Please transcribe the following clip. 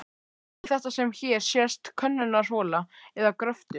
Er þetta sem hér sést könnunarhola eða gröftur?